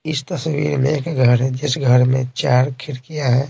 इस तस्वीर में एक घर है जिस घर में चार खिड़कियाँ हैं।